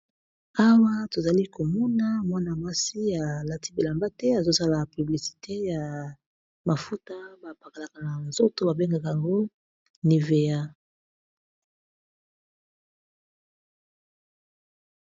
Awa tozali komona mwana mwasi ya lati bilamba te azosala piblisite ya mafuta bapakalaka na nzoto, babengaka yango niveya.